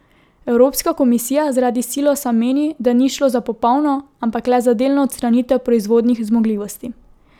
Evropska komisija zaradi silosa meni, da ni šlo za popolno, ampak le za delno odstranitev proizvodnih zmogljivosti.